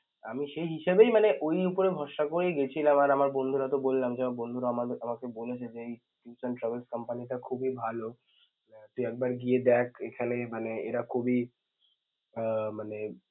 আমি সেই হিসাবেই মানে ওই ভরসা করে গেছিলাম আর আমার বন্ধুরা তো বললাম যে আমার বন্ধুরা আমা~ আমাকে বলেছে যে এই tours and travels company টা খুবই ভাল, আহ তুই একবার গিয়ে দেখ এইখানে~ মানে এরা খুবই আআ~ মানে